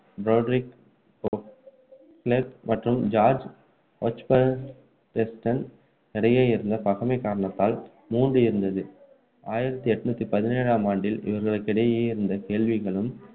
Frederick Beauclerk மற்றும் George Osbaldeston இடையே இருந்த பகைமை காரணத்தால் மூடி இருந்ததது ஆயிரத்து எண்ணூற்று பதினேழாம் ஆண்டில் இவர்களுக்கிடையே இருந்த கேள்விகளும்